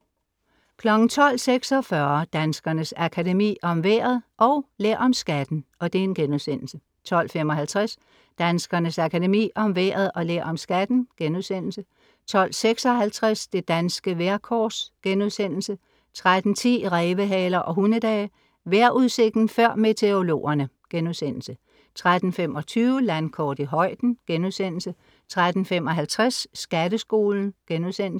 12:46 Danskernes Akademi, Om vejret & Lær om skatten* 12:55 Danskernes Akademi, Om vejret & Lær om skatten* 12:56 Det danske vejrkors* 13:10 Rævehaler og hundedage. Vejrudsigten før meteorologerne* 13:25 Landkort i højden* 13:55 Skatteskolen*